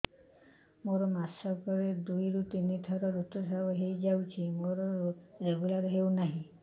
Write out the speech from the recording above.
ମୋର ମାସ କ ରେ ଦୁଇ ରୁ ତିନି ଥର ଋତୁଶ୍ରାବ ହେଇଯାଉଛି ମୋର ରେଗୁଲାର ହେଉନାହିଁ